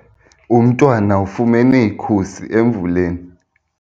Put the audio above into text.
Umntwana ufumene ikhusi emvuleni.